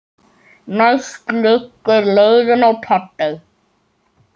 Næst liggur leiðin í Papey.